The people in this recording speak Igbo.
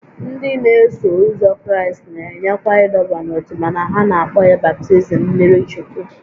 Ndị n'eso ụzọ Kraịst na-enyekwa ịdọba n'ótú mana ha na-akpọ ya baptizim mmiri Chukwu